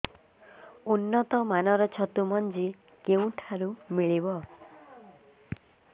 ଉନ୍ନତ ମାନର ଛତୁ ମଞ୍ଜି କେଉଁ ଠାରୁ ମିଳିବ